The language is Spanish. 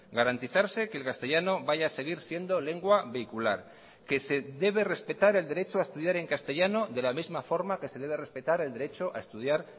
garantizarse que el castellano vaya a seguir siendo lengua vehicular que se debe respetar el derecho a estudiar en castellano de la misma forma que se debe respetar el derecho a estudiar